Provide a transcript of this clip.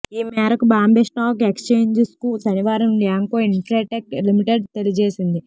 ఈ మేరకు బాంబే స్టాక్ ఎక్స్చేంజ్కు శనివారం ల్యాంకో ఇన్ఫ్రాటెక్ లిమిటెడ్ తెలియజేసింది